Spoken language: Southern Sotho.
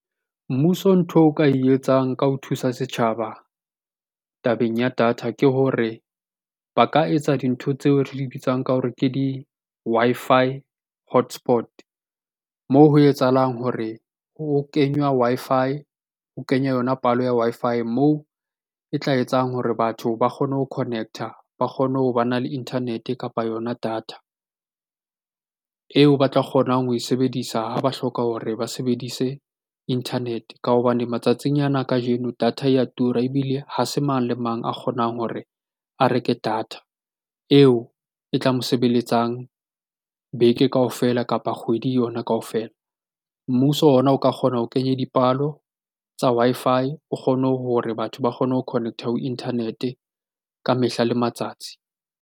Mmuso ntho o ka e etsang ka ho thusa setjhaba tabeng ya data ke hore ba ka etsa dintho tseo re di bitsang ka hore ke di-Wi-Fi hotspot. Moo ho etsahalang hore ho kenywa Wi-Fi, ho kenywe yona palo ya Wi-Fi moo e tla etsang hore batho ba kgone ho connect-a, ba kgone ho ba na le internet-e, kapa yona data eo ba tla kgonang ho e sebedisa ha ba hloka hore ba sebedise internet-e. Ka hobane matsatsing ana a kajeno data ya tura ebile ha se mang le mang a kgonang hore a reke data eo e tla mo sebeletsang beke kaofela, kapa kgwedi yona kaofela. Mmuso ona o ka kgona ho kenye dipalo tsa Wi-Fi o kgone hore batho ba kgone ho connect-a ho internet-e ka mehla le matsatsi.